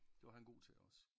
Det var han god til også